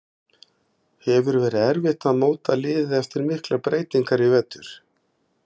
Hefur verið erfitt að móta liðið eftir miklar breytingar í vetur?